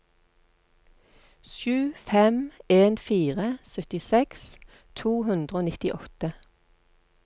sju fem en fire syttiseks to hundre og nittiåtte